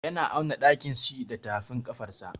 Yana auna ɗakin shi da tafin ƙafarsa.